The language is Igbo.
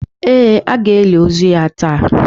Ee, a ga-eli ozu ya taa.